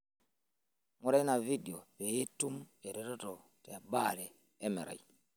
Ngura ina fidio pee itum eretoto tebaare emerai.